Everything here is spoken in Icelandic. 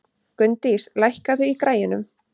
Gunndís, lækkaðu í græjunum.